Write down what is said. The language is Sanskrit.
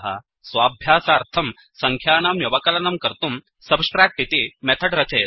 स्वाभ्यासार्थं सङ्ख्यानां व्यवकलनं कर्तुं subtract इति मेथड् रचयतु